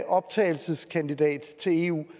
optagelseskandidat til eu